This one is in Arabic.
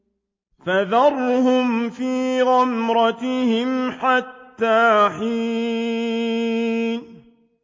فَذَرْهُمْ فِي غَمْرَتِهِمْ حَتَّىٰ حِينٍ